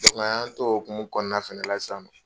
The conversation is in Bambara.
Dɔnku an y'an to o hukumu fana kɔnɔna na fɛnɛ na sisan nɔ.